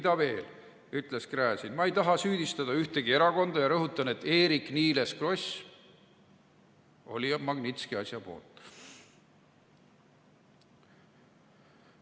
Ja veel," ütles Gräzin, "ma ei taha süüdistada ühtegi erakonda ja rõhutan, et Eerik-Niiles Kross oli otsast peale Magnitski asja poolt.